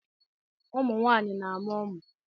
Ụmụ nwaanyị na-amụ ụmụ.